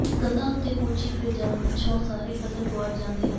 ਕੰਧਾਂ ਉੱਤੇ ਕੂਚੀ ਫਿਰ ਜਾਣ ਪਿੱਛੋਂ ਸਾਰੇ ਕਥਨ ਗੁਆਚ ਜਾਣੇ ਸਨ